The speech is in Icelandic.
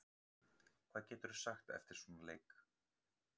Hvað geturðu sagt eftir svona leik?